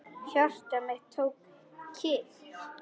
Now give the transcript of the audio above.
Hjarta mitt tók kipp.